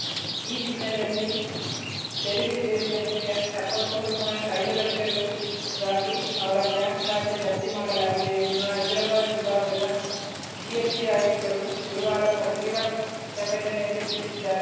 ಈ ಹಿನ್ನೆಲೆಯಲ್ಲಿ ತೆರಿಗೆ ಸೇರಿದಂತೆ ಎಪ್ಪತ್ ಮೂರು ಪಾಯಿಂಟ್ ಐದು ಲಕ್ಷ ರುಗಾಗಿ ಅವರ ಬ್ಯಾಂಕ್‌ ಖಾತೆ ಜಪ್ತಿ ಮಾಡಲಾಗಿದೆ ಎಂದು ಹೈದರಾಬಾದ್‌ ವಿಭಾಗದ ಜಿಎಸ್‌ಟಿ ಆಯುಕ್ತರು ಗುರುವಾರ ಪತ್ರಿಕಾ ಪ್ರಕಟಣೆಯಲ್ಲಿ ತಿಳಿಸಿದ್ದಾರೆ